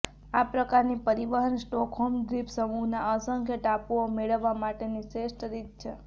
આ પ્રકારની પરિવહન સ્ટોકહોમ દ્વીપસમૂહના અસંખ્ય ટાપુઓ મેળવવા માટેની શ્રેષ્ઠ રીત છે